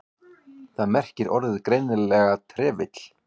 Þar merkir orðið greinilega trefill.